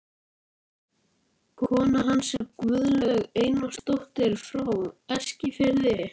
Kona hans var Guðlaug Einarsdóttir frá Eskifirði.